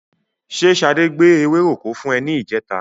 Ṣé Ṣadé gbé ewéròkó fún ẹ ní ìjẹta?